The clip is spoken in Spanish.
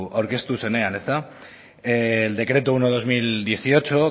aurkeztu zenean el decreto uno barra dos mil dieciocho